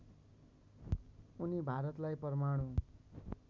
उनी भारतलाई परमाणु